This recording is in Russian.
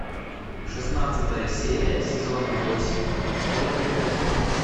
шестнадцатая серия сезона восемь школа мертвецов